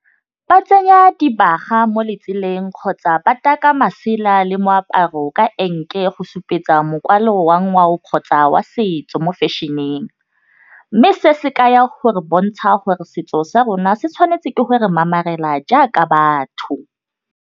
Ba tsenya dibaga mo letseleng kgotsa ba taka masela le moaparo ka enke go supetsa mokwalo wa ngwao kgotsa wa setso mo fashion-eng mme sena se ka ya gore bontsha gore setso sa rona se tshwanetse go re mamarela jaaka batho.